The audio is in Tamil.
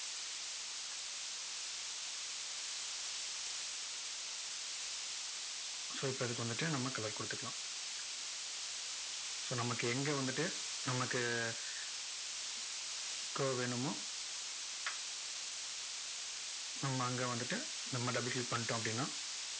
so இப்போ இதுக்கு வந்துட்டு நம்ம color கொடுத்துக்கலாம். so நமக்கு எங்க வந்துட்டு நமக்கு, curve வேணுமோ, நம்ம அங்க வந்துட்டு, நம்ம double click பண்ணிட்டோம் அப்படின்னா,